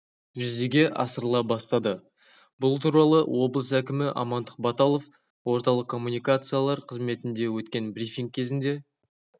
жүзеге асырыла бастады бұл туралы облыс әкімі амандық баталов орталық коммуникациялар қызметінде өткен брифинг кезінде